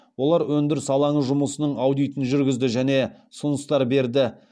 олар өндіріс алаңы жұмысының аудитін жүргізді және ұсыныстар берді